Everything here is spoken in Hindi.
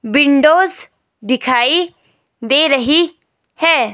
विंडोज़ दिखाई दे रही है।